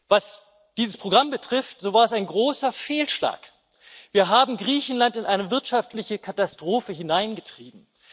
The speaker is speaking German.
Was dieses Programm betrifft, so war es ein großer Fehlschlag. Wir haben Griechenland in eine wirtschaftliche Katastrophe hineingetrieben.